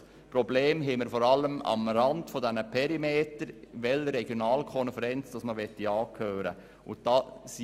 Probleme haben wir vor allem am Rand der Perimeter damit, welcher Regionalkonferenz man dort angehören möchte.